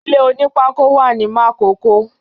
ilé onípákó wà ní Makòko.